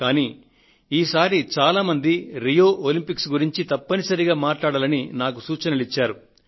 కానీ ఈసారి చాలా మంది రియో ఒలంపిక్స్ ను గురించి తప్పనిసరిగా మాట్లాడాలని నాకు సూచనలు పంపారు